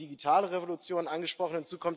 Sie haben die digitale Revolution angesprochen.